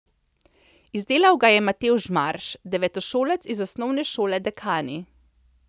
Izdelal ga je Matevž Marš, devetošolec iz Osnovne šole Dekani.